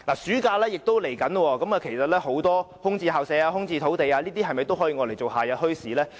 暑假將至，其實很多空置校舍和土地是否也可用作夏日墟市？